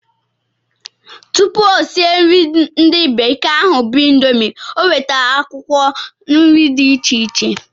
Tụpụ o sie nri ndi bekee ahụ bu indomie, o wetara akwụkwọ nri dị iche iche